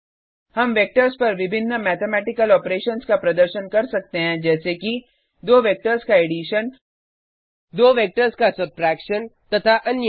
हम वेक्टर्स पर विभिन्न मैथमेटिकल ऑपरेशंस का प्रदर्शन कर सकते हैं जैसे कि दो वेक्टर्स का एडिशन दो वेक्टर्स का सब्ट्रैक्शन तथा अन्य